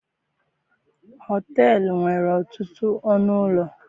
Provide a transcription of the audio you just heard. Họteelụ nwere ọtụtụ ọnụ ụlọ.